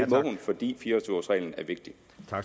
må hun fordi fire og tyve års reglen er vigtig